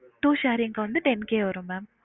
Two sharing க்கு வந்து ten K வரும் mam